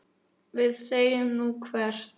Við segjum: Nú, hvert?